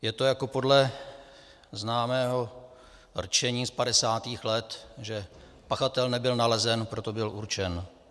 Je to jako podle známého rčení z 50. let, že pachatel nebyl nalezen, proto byl určen.